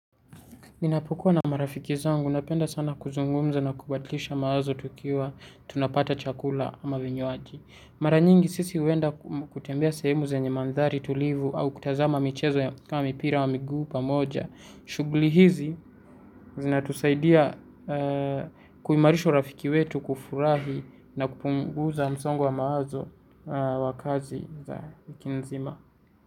Ninapukua na marafiki zangu, napenda sana kuzungumza na kubadilisha mawazo tukiwa tunapata chakula ama vinywaji. Mara nyingi sisi huenda kutembea sehemu zenye mandhari tulivu au kutazama michezo ya mpira wa miguu pamoja. Shughuli hizi zinatusaidia kuimarisha urafiki wetu, kufurahi na kupunguza msongo wa mawazo wa kazi za wiki nzima.